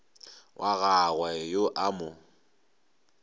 wa gagwe yo a mo